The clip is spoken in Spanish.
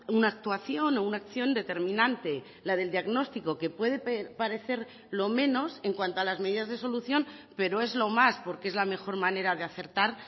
una actuación o una acción determinante la del diagnóstico que puede parecer lo menos en cuanto a las medidas de solución pero es lo más porque es la mejor manera de acertar